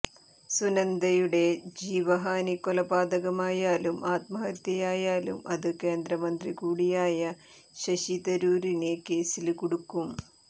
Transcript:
സുനന്ദയുടെ ജീവഹാനി കൊലപാതകമായാലും ആത്മഹത്യയായാലും അത് കേന്ദ്രമന്ത്രികൂടിയായ ശശി തരൂരിനെ കേസില് കുടുക്കും